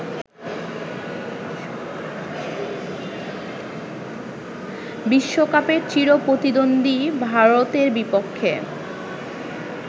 বিশ্বকাপে চিরপ্রতিদ্বন্দ্বী ভারতের বিপক্ষে